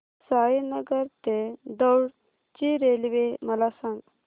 साईनगर ते दौंड ची रेल्वे मला सांग